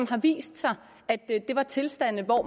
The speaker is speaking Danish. det viste sig at det var tilstande hvor